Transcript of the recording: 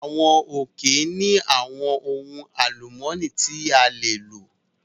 Àwọn òkè ní àwọn ohun alumọni tí a lè lò